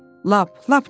Lap, lap çox.